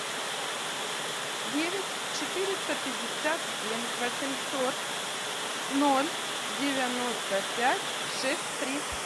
девять четыреста пятьдесят семь восемьсот ноль девяносто пять шесть три